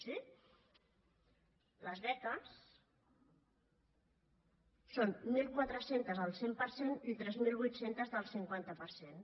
sí les beques són mil quatre cents al cent per cent i tres mil vuit cents del cinquanta per cent